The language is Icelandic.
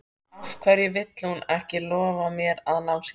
Af hverju vill hún ekki lofa mér að ná sér?